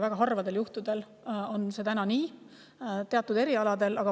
Väga harvadel juhtudel on nii, et seda saab teha eesti keeles, vaid teatud erialadel.